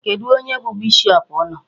Kedụ onye bụ bishop unu?